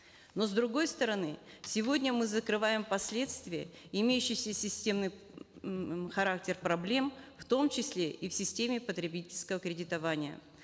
но с другой стороны сегодня мы закрываем последствия имеющиеся в системной характер проблем в том числе и в системе потребительского кредитования